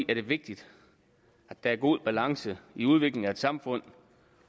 er det vigtigt at der er god balance i udviklingen af et samfund